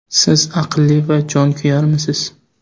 Siz aqlli va jonkuyarmisiz?